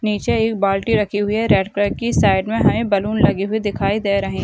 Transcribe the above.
नीचे एक बाल्टी रखी हुई है रेड कलर की साइड में हमें बैलून लगी हुई दिखाई दे रही --